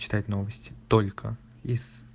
читать новости только из